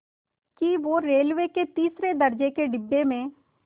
कि वो रेलवे के तीसरे दर्ज़े के डिब्बे में